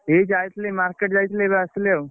ଏଇ ଯାଇଥିଲି market ଯାଇଥିଲି ଏବେ ଆସିଲି ଆଉ।